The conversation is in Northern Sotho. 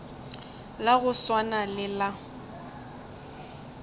la go swana le la